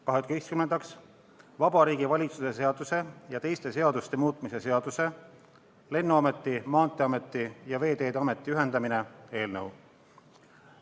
Kaheteistkümnendaks, Vabariigi Valitsuse seaduse ja teiste seaduste muutmise seaduse eelnõu.